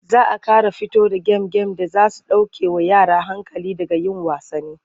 Za a ƙara fito da gem-gem da za su ɗaukewa yara hankali daga yin wasanni.